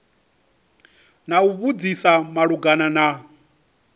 na u vhudzisa malugana na